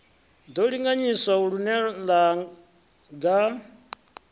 ḓo linganyiswa lune ḽa gan